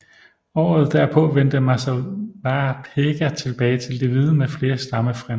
Året derpå vendte Masewapega tilbage til de hvide med flere stammefrænder